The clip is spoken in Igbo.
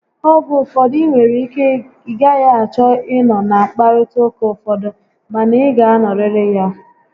Oge ụfọdụ, ị nwere ike ị gaghị achọ ị nọ na nkparịta ụka ụfọdụ, ma na ị ga anọrịrị ya